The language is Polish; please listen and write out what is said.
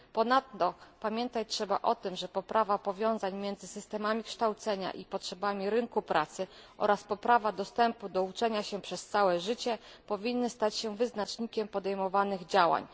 Ponadto pamiętać trzeba o tym, że poprawa powiązań między systemami kształcenia i potrzebami rynku pracy oraz poprawa dostępu do uczenia się przez całe życie powinny stać się wyznacznikiem podejmowanych działań.